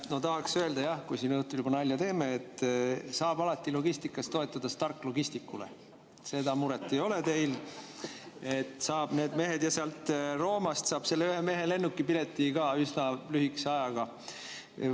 Ma tahaks öelda, kui me siin õhtul juba nalja teeme, et alati saab logistikas toetuda Stark Logisticsile, teil muret ei ole, saab need mehed, ja sealt Roomast saab sellele ühele mehele lennukipileti ka üsna lühikese ajaga.